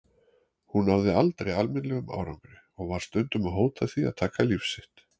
Hún náði aldrei almennilegum árangri og var stundum að hóta því að taka líf sitt.